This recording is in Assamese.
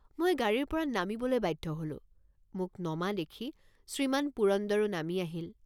মই গাড়ীৰপৰা নামিবলৈ বাধ্য হলোঁ। মোক নমা দেখি শ্ৰীমান পুৰন্দৰো নামি আহিল।